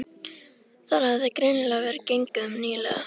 Þar hafði greinilega verið gengið um nýlega.